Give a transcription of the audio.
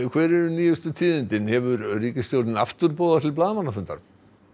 hver eru nýjustu tíðindin hefur ríkisstjórnin aftur boðað til blaðamannafundar